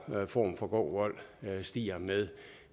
form for grov vold stiger med